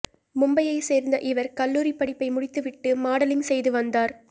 மும்பையைச் சேர்ந்த இவர் கல்லூரிப் படிப்பை முடித்துவிட்டு மாடலிங் செய்து வந்தார்